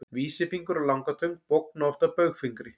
Vísifingur og langatöng bogna oft að baugfingri.